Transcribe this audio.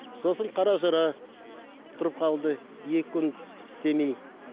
сосын қаражыра тұрып қалды екі күн істемей